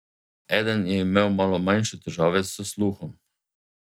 Eden je imel nato manjše težave s sluhom.